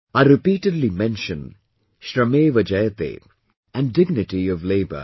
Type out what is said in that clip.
I repeatedly mention 'Shrameva Jayate', and Dignity of Labour